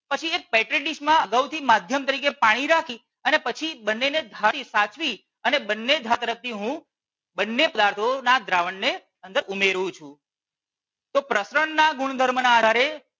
પછી એક માં અગાઉ થી માધ્યમ તરીકે પાણી રાખી અને પછી બંને ને ધાર થી સાચવી અને બંને ધાર તરફ થી હું બંને પદાર્થો ના દ્રાવણ ને અંદર હું ઉમેરું છું. તો પ્રસરણ ના ગુણધર્મ ના આધારે